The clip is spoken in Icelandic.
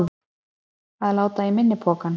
Að láta í minni pokann